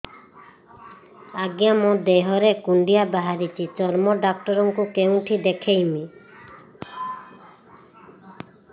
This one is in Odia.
ଆଜ୍ଞା ମୋ ଦେହ ରେ କୁଣ୍ଡିଆ ବାହାରିଛି ଚର୍ମ ଡାକ୍ତର ଙ୍କୁ କେଉଁଠି ଦେଖେଇମି